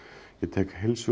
ég tek